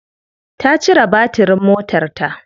Ta cire batirin motarta.